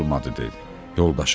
olmadı deyir, yoldaşı.